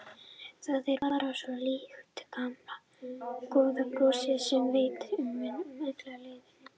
Það er bara svo líkt gamla góða brosinu sem veitast mun öllum lýðnum.